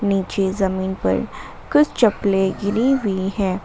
नीचे जमीन पर कुछ चप्पलें गिरी हुई है।